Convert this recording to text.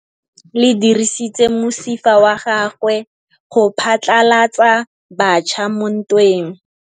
Lepodisa le dirisitse mosifa wa gagwe go phatlalatsa batšha mo ntweng.